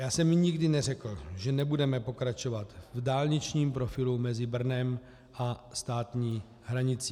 Já jsem nikdy neřekl, že nebudeme pokračovat v dálničním profilu mezi Brnem a státní hranicí.